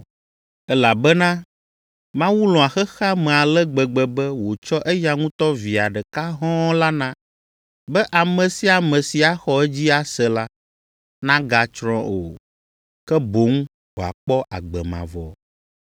Elabena Mawu lɔ̃a xexea me ale gbegbe be wòtsɔ eya ŋutɔ Via ɖeka hɔ̃ɔ la na, be ame sia ame si axɔ edzi ase la, nagatsrɔ̃ o, ke boŋ wòakpɔ agbe mavɔ.